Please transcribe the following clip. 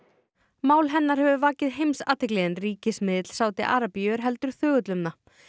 málið hefur vakið heimsathygli en ríkismiðill Sádi Arabíu er heldur þögull um það